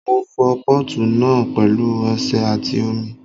Mo fọ pọ́ọ̀tù náà pẹ̀lú ọṣẹ àti omi